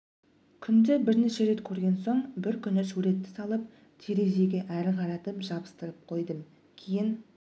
күнде бірнеше рет көрген соң бір күні суретті салып терезеге ары қаратып жабыстырып қойдым кейін